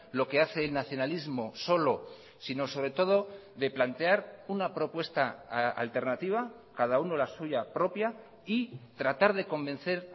lo que hace el nacionalismo solo sino sobretodo de plantear una propuesta alternativa cada uno la suya propia y tratar de convencer